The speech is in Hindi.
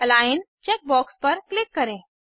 अलिग्न चेक बॉक्स पर क्लिक करें